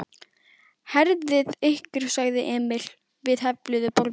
Herðið ykkur sagði Emil við hefluðu borðin.